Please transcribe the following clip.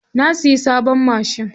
Na siya sabon machin.